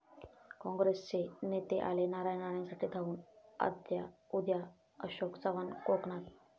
काँग्रेसचे नेते आले नारायण राणेंसाठी धावून, उद्या अशोक चव्हाण कोकणात!